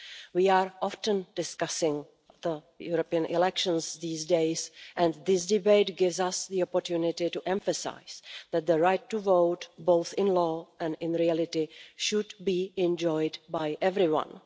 We often discuss the European elections these days and this debate gives us the opportunity to emphasise that the right to vote, both in law and in reality, should be enjoyed by everyone.